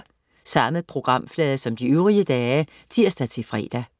Samme programflade som de øvrige dage (tirs-fre)